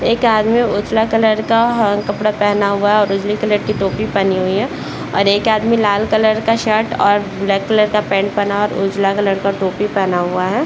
एक आदमी उजला कलर का ह कपड़ा पहना हुआ है और उजले कलर की टोपी पहनी हुई है और एक आदमी लाल कलर का शर्ट और ब्लैक कलर का पेंट पहना है और उजला कलर का टोपी पहना हुआ है ।